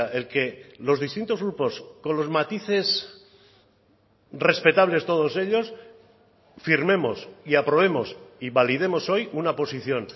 el que los distintos grupos con los matices respetables todos ellos firmemos y aprobemos y validemos hoy una posición